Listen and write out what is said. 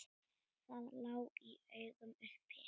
Það lá í augum uppi.